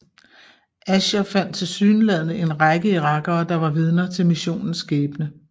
Asher fandt tilsyneladende en række irakere der var vidner til missionens skæbne